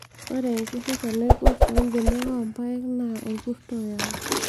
Ore enkirisho naiborr too mbenek oompayek naa orkuto oyau